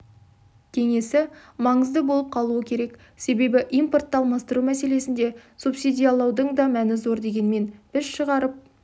кеңесі маңызды болып қалуы керек себебі импортты алмастыру мәселесінде субсидиялаудың да мәнізор дегенмен біз шығарып